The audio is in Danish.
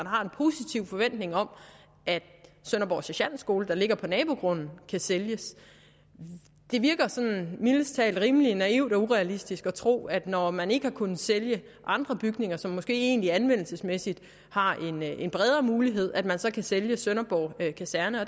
har en positiv forventning om at sønderborg sergentskole der ligger på nabogrunden kan sælges det virker sådan mildest talt rimelig naivt og urealistisk at tro at når man ikke har kunnet sælge andre bygninger som måske egentlig anvendelsesmæssigt har en bredere mulighed kan man sælge sælge sønderborg kaserne